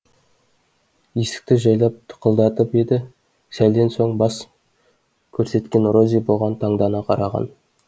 есікті жайлап тықылдатып еді сәлден соң бас көрсеткен рози бұған таңдана қараған